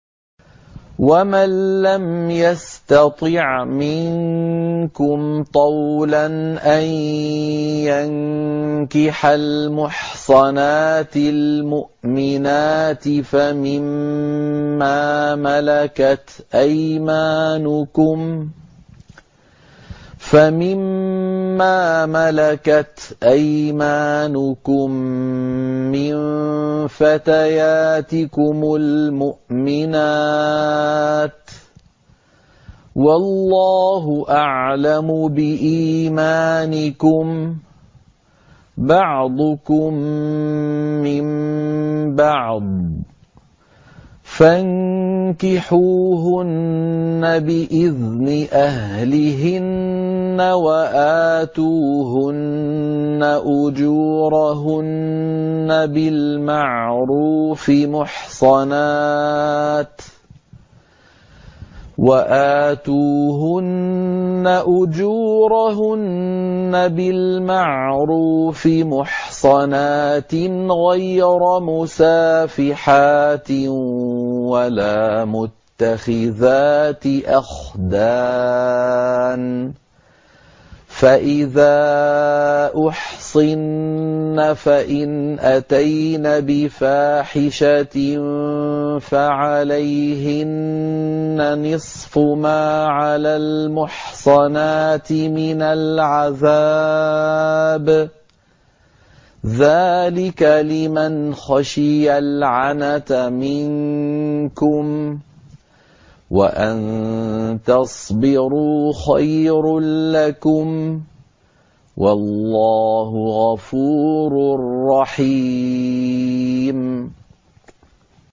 وَمَن لَّمْ يَسْتَطِعْ مِنكُمْ طَوْلًا أَن يَنكِحَ الْمُحْصَنَاتِ الْمُؤْمِنَاتِ فَمِن مَّا مَلَكَتْ أَيْمَانُكُم مِّن فَتَيَاتِكُمُ الْمُؤْمِنَاتِ ۚ وَاللَّهُ أَعْلَمُ بِإِيمَانِكُم ۚ بَعْضُكُم مِّن بَعْضٍ ۚ فَانكِحُوهُنَّ بِإِذْنِ أَهْلِهِنَّ وَآتُوهُنَّ أُجُورَهُنَّ بِالْمَعْرُوفِ مُحْصَنَاتٍ غَيْرَ مُسَافِحَاتٍ وَلَا مُتَّخِذَاتِ أَخْدَانٍ ۚ فَإِذَا أُحْصِنَّ فَإِنْ أَتَيْنَ بِفَاحِشَةٍ فَعَلَيْهِنَّ نِصْفُ مَا عَلَى الْمُحْصَنَاتِ مِنَ الْعَذَابِ ۚ ذَٰلِكَ لِمَنْ خَشِيَ الْعَنَتَ مِنكُمْ ۚ وَأَن تَصْبِرُوا خَيْرٌ لَّكُمْ ۗ وَاللَّهُ غَفُورٌ رَّحِيمٌ